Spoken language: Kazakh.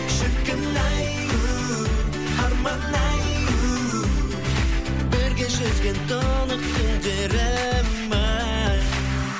шіркін ай у арман ай у бірге жүзген тұнық көлдерім ай